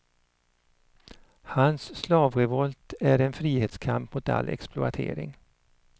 Hans slavrevolt är en frihetskamp mot all exploatering.